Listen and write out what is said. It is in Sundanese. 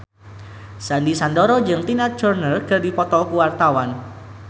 Sandy Sandoro jeung Tina Turner keur dipoto ku wartawan